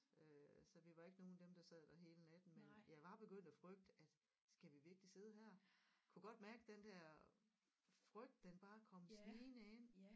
Øh så vi var ikke nogle af dem der sad der hele natten men jeg var begyndt at frygte at skal vi virkelig sidde her kunne godt mærke den der frygt den bare kom snigende ind